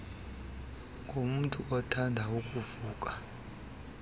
ngamntu othanda ukuvuka